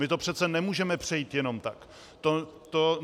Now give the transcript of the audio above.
My to přece nemůžeme přejít jenom tak.